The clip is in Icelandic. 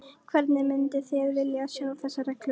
Hvernig mynduð þið vilja sjá þessar reglur?